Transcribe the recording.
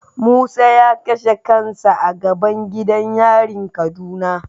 Musa ya kashe kansa a gaban gidan yarin kaduna.